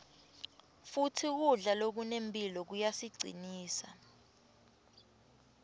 futsi kudla lokunemphilo kuyasicinsa